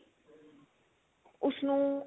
ਉਸਨੂੰ